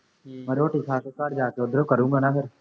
ਮੈਂ ਰੋਟੀ ਖਾ ਕੇ ਘਰ ਜਾ ਕੇੇ ਉੱਧਰੋਂ ਕਰੂੰਗਾ ਨਾ ਫੇਰ